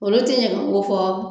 Olu te ɲɛgɛnko fɔ